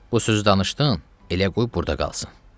Bu sözü danışdın, elə qoy burda qalsın.